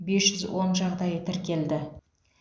бес жүз он жағдайы тіркелді